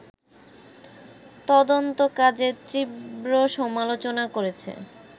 তদন্তকাজের তীব্র সমালোচনা করেছে